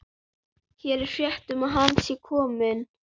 Hér er frétt um að hann sé kominn.